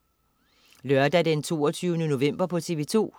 Lørdag den 22. november - TV2: